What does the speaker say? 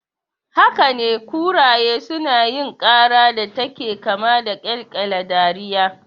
Hakane, kuraye sunayin ƙara da take kama da ƙyalƙyala dariya